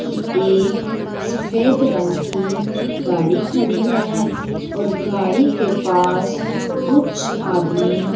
की एक सफेद रंग की गाड़ी खड़ी है और गाड़ी के पास कुछ आदमी --